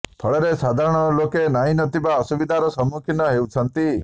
ଫଳରେ ସାଧାରଣ ଲୋକେ ନାହିଁ ନଥିବା ଅସୁବିଧାର ସମ୍ମୁଖୀନ ହେଉଛନ୍ତି